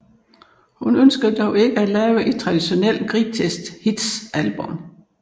Hun ønskede dog ikke at lave et traditionelt greatest hits album